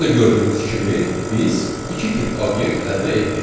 Burada gördüyünüz kimi biz iki tip obyekt əldə etdik.